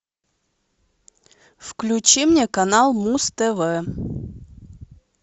включи мне канал муз тв